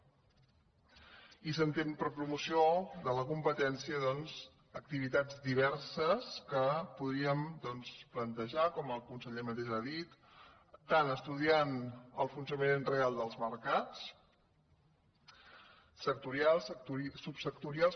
i s’entén per promoció de la competència doncs activitats diverses que podríem plantejar com el conseller mateix ha dit tant estudiant el funcionament real dels mercats sectorials subsectorials